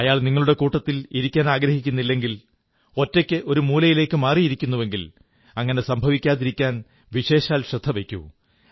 അയാൾ നിങ്ങളുടെ കൂട്ടത്തിൽ ഇരിക്കാനാഗ്രഹിക്കുന്നില്ലെങ്കിൽ ഒറ്റയ്ക്ക് ഒരു മൂലയിലേക്കു മാറുന്നുവെങ്കിൽ അങ്ങനെ സംഭവിക്കാതിരിക്കാൻവിശേഷാൽ ശ്രദ്ധ വയ്ക്കൂ